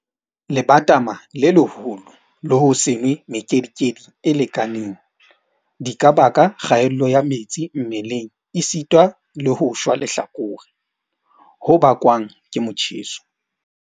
Lebatama le leholo le ho se nwe mekedikedi e lekaneng, di ka baka kgaello ya metsi mmeleng esita le ho shwa lehlakore ho bakwang ke motjheso.